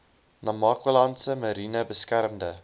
namakwalandse mariene beskermde